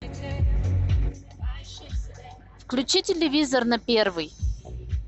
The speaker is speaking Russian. включи телевизор на первый